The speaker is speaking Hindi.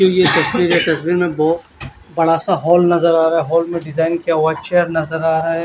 ये एक तस्वीर है तस्वीर में बोहोत बड़ा सा हॉल नज़र आ रहा है हॉल में डिजाईन किया हुआ चेयर नज़र आ रहा है।